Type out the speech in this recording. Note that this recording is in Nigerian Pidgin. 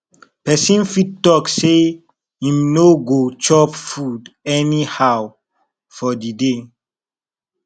persin fit talk say im no go chop food anyhow for di day